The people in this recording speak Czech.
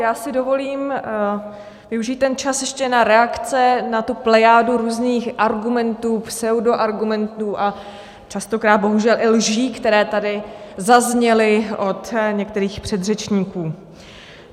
Já si dovolím využít ten čas ještě na reakce na tu plejádu různých argumentů, pseudoargumentů a častokrát bohužel i lží, které tady zazněly od některých předřečníků.